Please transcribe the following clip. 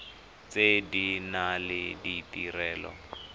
tse di nang le ditirelo